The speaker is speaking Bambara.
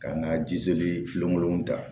Ka n ka jiseli filenw ta